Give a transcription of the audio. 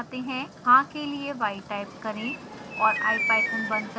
हाँ के लिए y टाइप करें और ipython बंद करें